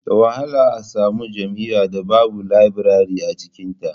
Da wahala a samu jami'ar da babu labirare a cikinta